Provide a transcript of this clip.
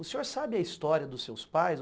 O senhor sabe a história dos seus pais?